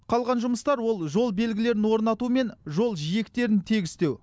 қалған жұмыстар ол жол белгілерін орнату мен жол жиектерін тегістеу